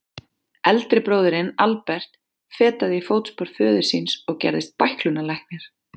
Eldri bróðirinn, Albert, fetaði í fótspor föður síns og gerðist bæklunarlæknir.